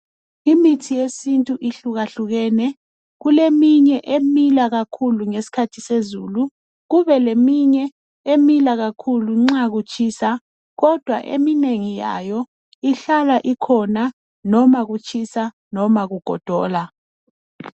Imithi yesintu ihlukahlukene, kuleminye emila kakhulu ngesikhathi sezulu, kube leminye, emila kakhulu nxa kutshisa. Kodwa eminengi yayo ihlala ikhona noma kutshisa, noma kugodola.